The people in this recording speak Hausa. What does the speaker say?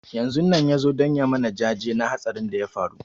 Yanzun nan ya zo don ya mana jaje na hatsarin da ya faru